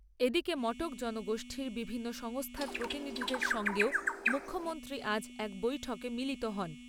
এদিকে মটক জনগোষ্ঠীর বিভিন্ন সংস্থার প্রতিনিধিদের সঙ্গেও মুখ্যমন্ত্রী আজ এক বৈঠকে মিলিত হন।